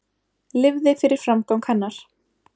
Lifði fyrir framgang hennar.